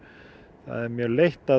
það er mjög leitt að